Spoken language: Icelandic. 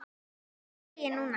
Engu trúi ég núna.